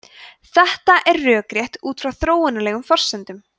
þetta er rökrétt út frá þróunarlegum forsendum